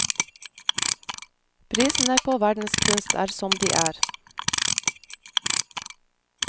Prisene på verdenskunst er som de er.